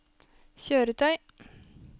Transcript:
kjøretøy